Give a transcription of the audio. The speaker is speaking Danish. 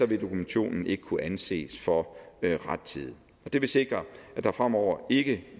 vil dokumentationen ikke kunne anses for rettidig det vil sikre at der fremover ikke